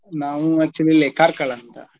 ನಾವು actually ಇಲ್ಲೇ ಕಾರ್ಕಳ ಹತ್ರ.